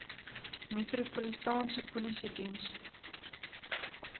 metropolitaanse polisie diens